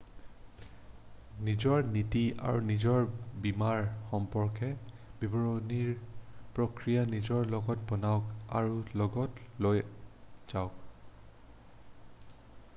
নিজৰ নীতি আৰু নিজৰ বীমাৰ সম্পৰ্কে বিৱৰণিৰ প্ৰক্ৰিয়া নিজৰ লগত বনাওক আৰু লগত লৈ যাওক